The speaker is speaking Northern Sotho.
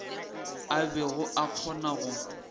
a bego a kgona go